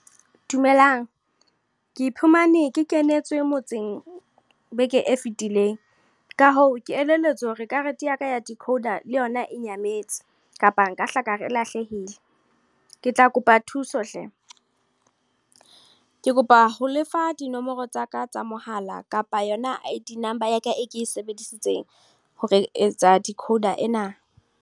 Dumelang. Ke iphumane ke kenetswe, motseng beke e fetileng. Ka hoo, ke elelletswe hore karete yaka ya decoder le yona e nyametse. Kapa nka hla ka re le yona e lahlehile. Ke tla kopa thuso hle. Ke kopa ho lefa dinomoro tsaka tsa mohala kapa yona I_D number ya ka e ke e sebedisitsweng, ho etsa decoder ena.